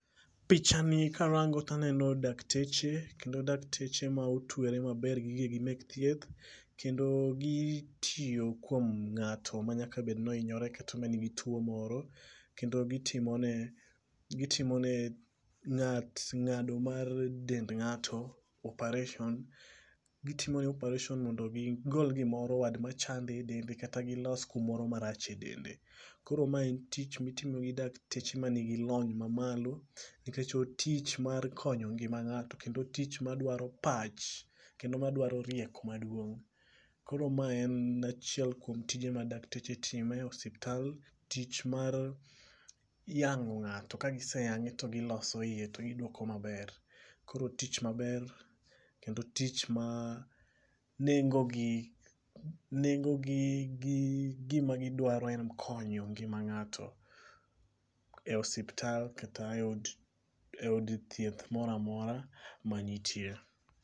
Pichani karango taneno dakteche kendo dakteche ma otwere maber gi gige gi meth thieth kendo, gitiyo kuom ng'ato manyaka bed ni ohinyore kata manigi tuo moro kendo gitimo ne gitimo ne ng'at ng'ado mar dend ng'ato operation. Gitimo ne csoperation mondo gigol gimoro wad machande e dende kata gilos kumoro marach e dende . Koro mae en tich mitimo gi dakteche manigi lony mamalo nikech otich mar konyo ngima ng'ato kendo otich madwaro pach kendo madwaro rieko maduong' koro ma en achiel kuom tije ma dakteche timo e osiptal. Tich mar yang'o ng'ato ka giseyange to gilos iye to giduoko maber .Koro otich maber kendo otich ma nengo gi gi gima gidwaro en konyo ngima ng'ato e ospital kata e od e od thieth moramora manitie.